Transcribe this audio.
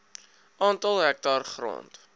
aantal hektaar grond